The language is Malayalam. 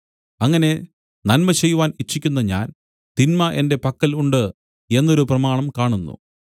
അങ്ങനെ നന്മ ചെയ്യുവാൻ ഇച്ഛിക്കുന്ന ഞാൻ തിന്മ എന്റെ പക്കൽ ഉണ്ട് എന്നൊരു പ്രമാണം കാണുന്നു